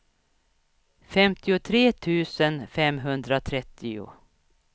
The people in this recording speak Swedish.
femtiotre tusen femhundratrettio